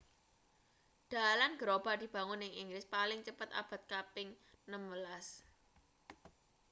dalan gerobak dibangun ing inggris paling cepet abad kaping 16